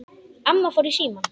Amma fór í símann.